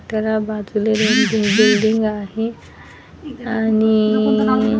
जरा बाजूला एक बिल्डिंग आहे आणि --